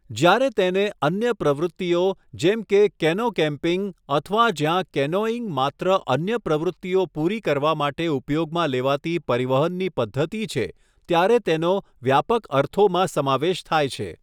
જ્યારે તેને અન્ય પ્રવૃત્તિઓ જેમ કે કેનો કેમ્પિંગ અથવા જ્યાં કેનોઇંગ માત્ર અન્ય પ્રવૃત્તિઓ પૂરી કરવા માટે ઉપયોગમાં લેવાતી પરિવહનની પદ્ધતિ છે, ત્યારે તેનો વ્યાપક અર્થોમાં સમાવેશ થાય છે.